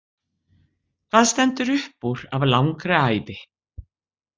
Hvað stendur uppúr af langri ævi?